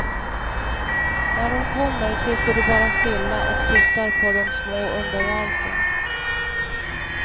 När de kommer sitter du bara stilla och tittar på de små underverken.